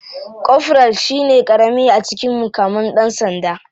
Koforal shine karami a cikin mukaman dan sanda.